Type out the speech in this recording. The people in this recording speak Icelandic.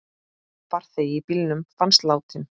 Farþegi í bílnum fannst látinn.